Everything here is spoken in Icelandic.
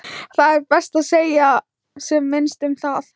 Það er best að segja sem minnst um það.